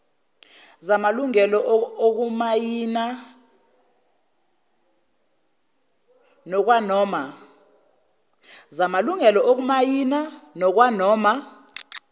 zamalungelo okumayina ngokwanoma